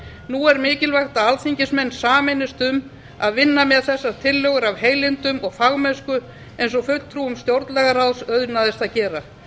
nú er mikilvægt að alþingismenn sameinist um að vinna með þessar tillögur af heilindum og fagmennsku eins og fulltrúum stjórnlagaráðs auðnaðist að gera það